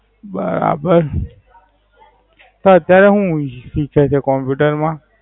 બરાબર. તો અત્યારે હું હીખે છે Computer માં?